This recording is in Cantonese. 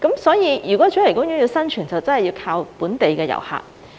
所以，如果主題公園要生存，真的要靠本地遊客。